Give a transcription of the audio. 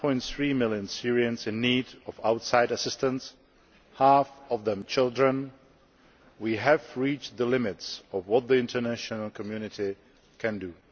9.3 million Syrians in need of outside assistance half of them children we have reached the limits of what the international community can do.